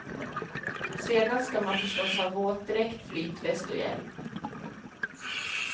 Sedan ska man förstås ha våtdräkt, flytväst och hjälm.